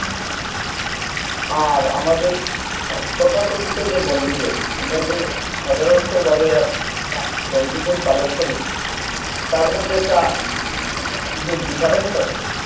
আর আমাদের তথাকথিত যে বনভোজন আমরা যে সাধারণত ভাবে বনভোজন পালন করি তার মধ্যে একটা যে difference আছে